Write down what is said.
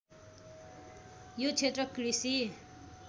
यो क्षेत्र कृषि